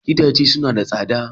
Gidaje suna da tsada